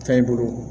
Fɛn i bolo